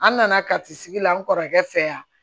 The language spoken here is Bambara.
An nana kati sigi la n kɔrɔkɛ fɛ yan